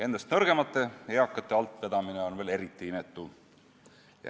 Endast nõrgemate, eakate altvedamine on veel eriti inetu.